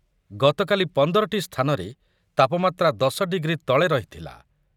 ଗତକାଲି ପନ୍ଦର ଟି ସ୍ଥାନରେ ତାପମାତ୍ରା ଦଶ ଡିଗ୍ରୀ ତଳେ ରହିଥିଲା ।